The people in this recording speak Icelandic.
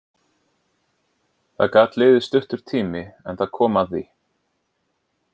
Það gat liðið stuttur tími, en það kom að því.